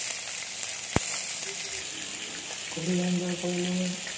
ঘুৰি enjoy কৰিলো মই।